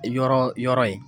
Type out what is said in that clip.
Yɔrɔ yɔrɔ ye